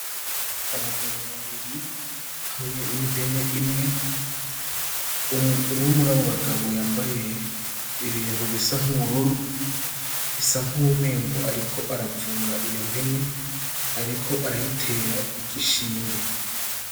Abagabo babiri hamwe n'impene imwe :umwe murabo bagabo yambaye ibintu bisa n'ubururu bisa nkuko umengo ariko aravura iyo mpene, ariko arayitera igishinge .